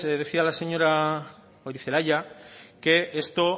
decía la señora gorizelaia que esto